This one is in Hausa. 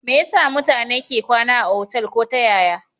Me yasa mutane ke kwana otal ko ta yaya